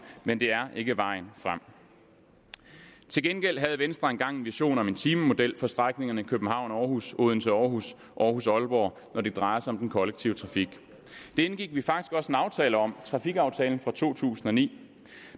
men det er ikke vejen frem til gengæld havde venstre engang en vision om en timemodel for strækningerne københavn aarhus odense aarhus aarhus aalborg når det drejer sig om den kollektive trafik det indgik vi faktisk også en aftale om trafikaftalen fra to tusind og ni